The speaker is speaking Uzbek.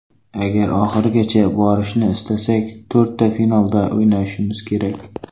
Agar oxirigacha borishni istasak, to‘rtta finalda o‘ynashimiz kerak.